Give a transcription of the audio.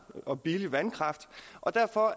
og billig vandkraft og derfor